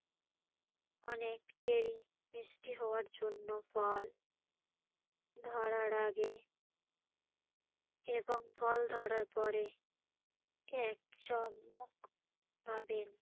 অনেক চেরি মিষ্টি হওয়ার জন্য ফল ধরার আগে এবং ফল ধরার পরে এক চামচমক পাবেন